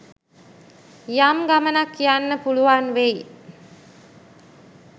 යම් ගමනක් යන්න පුළුවන් වෙයි